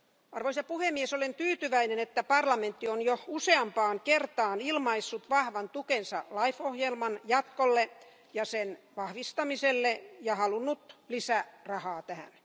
Arvoisa puhemies, olen tyytyväinen, että parlamentti on jo useampaan kertaan ilmaissut vahvan tukensa LIFE ohjelman jatkolle ja sen vahvistamiselle ja halunnut lisärahaa tähän.